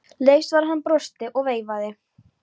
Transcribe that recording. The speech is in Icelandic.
Leifs var að hann brosti og veifaði.